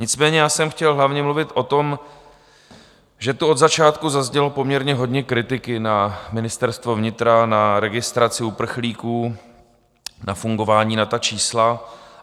Nicméně já jsem chtěl hlavně mluvit o tom, že tu od začátku zaznělo poměrně hodně kritiky na Ministerstvo vnitra, na registraci uprchlíků, na fungování, na ta čísla.